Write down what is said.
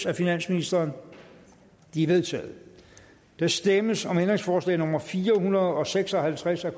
af finansministeren de er vedtaget der stemmes om ændringsforslag nummer fire hundrede og seks og halvtreds af